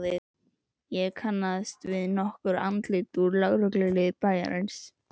Ég kannaðist við nokkur andlit úr lögregluliði bæjarins.